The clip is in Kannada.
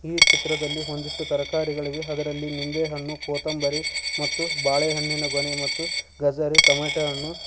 ಈ ಚಿತ್ರದಲ್ಲಿ ಒಂದಿಷ್ಟು ತರಕಾರಿಗಳಿವೆ ಅದರಲ್ಲಿ ನಿಂಬೆ ಹಣ್ಣು ಕೊತಂಬರಿ ಮತ್ತು ಬಾಳೆ ಹಣ್ಣಿನ ಗೊನೆ ಮತ್ತು ಗಜರಿ ಟೊಮ್ಯಾಟೊ ಅನ್ನು--